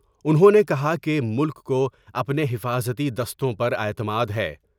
انھوں نے کہا کہ ملک کو اپنے حفاظتی دستوں پر اعتماد ہے ۔